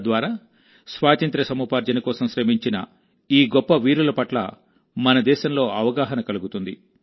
తద్వారా స్వాతంత్ర్య సముపార్జన కోసం శ్రమించిన ఈ గొప్ప వీరుల పట్ల మన దేశంలో అవగాహన కలుగుతుంది